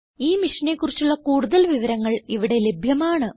ഈ മിഷനെ കുറിച്ചുള്ള കുടുതൽ വിവരങ്ങൾ ഇവിടെ ലഭ്യമാണ്